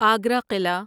Agra Qila